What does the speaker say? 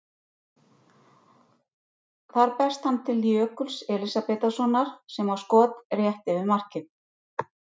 Þar berst hann til Jökuls Elísabetarsonar sem á skot rétt yfir markið.